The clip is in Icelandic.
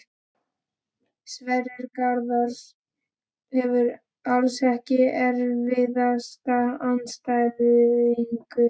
Sverrir Garðars hefur allt Ekki erfiðasti andstæðingur?